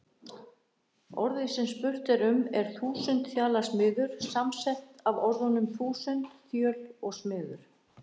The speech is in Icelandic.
Orðið sem spurt er um er þúsundþjalasmiður, samsett af orðunum þúsund, þjöl og smiður.